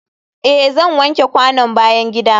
eh zan wanke kwanon bayan gida.